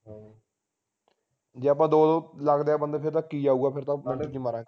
ਜੇ ਆਪਾ ਦੋ ਦੋ ਲਗਦੇ ਆ ਬੰਦੇ ਫੇਰ ਤਾਂ ਕੀ ਆਊਗਾ ਫੇਰ ਤਾ ਘਾਟੇ ਚ ਮਰਾਂਗੇ